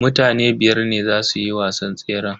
Mutane biyar ne zasu yi wasan tseran.